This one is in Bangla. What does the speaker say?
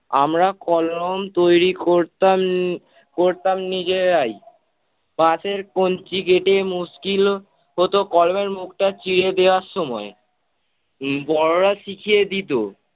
আমরা কলম তৈরী করতাম উম করতাম নিজেরাই। বাঁশের কঞ্চি কেটে মুশকিল হত কলমের মুখটা চিড়ে দেওয়ার সময়। এই বড়োরা শিখিয়ে দিতো